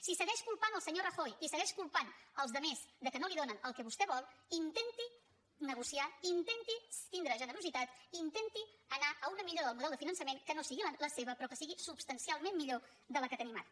si segueix culpant el senyor rajoy i segueix culpant els altres que no li donen el que vostè vol intenti negociar intenti tindre generositat intenti anar a una millora del model de finançament que no sigui la seva però que sigui substancialment millor de la que tenim ara